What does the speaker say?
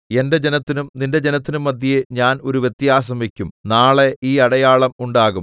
എന്റെ ജനത്തിനും നിന്റെ ജനത്തിനും മദ്ധ്യേ ഞാൻ ഒരു വ്യത്യാസം വയ്ക്കും നാളെ ഈ അടയാളം ഉണ്ടാകും